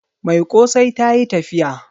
Mai kosai ta yi tafiya